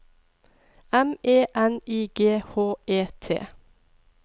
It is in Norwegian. M E N I G H E T